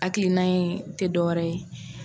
Hakilina in tɛ dɔwɛrɛ ye